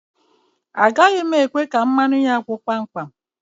Agaghi m ekwe ka mmanụ ya gwụ kpam kpam.